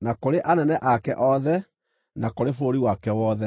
na kũrĩ anene ake othe, na kũrĩ bũrũri wake wothe.